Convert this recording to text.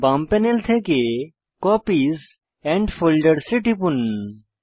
বাম প্যানেল থেকে copies and folders এ টিপুন